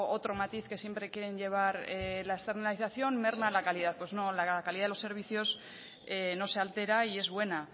otro matiz que siempre quieren llevar la externalizacion merma la calidad pues no la calidad de los servicios no se altera y es buena